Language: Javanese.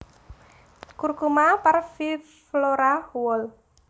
Curcuma parviflora Wall